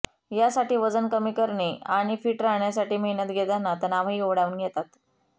यासाठी वजन कमी करणे आणि फिट राहण्यासाठी मेहनत घेताना तणावही ओढावून घेतात